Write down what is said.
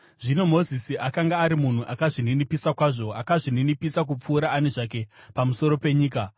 Zvino Mozisi akanga ari munhu akazvininipisa kwazvo, akazvininipisa kupfuura ani zvake pamusoro penyika.